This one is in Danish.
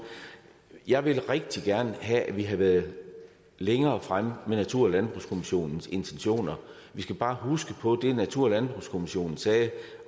jeg ville rigtig gerne have at vi havde været længere fremme med natur og landbrugskommissionens intentioner vi skal bare huske på at det natur og landbrugskommissionen sagde